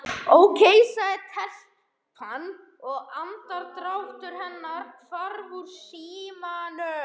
Ókei sagði telpan og andardráttur hennar hvarf úr símanum.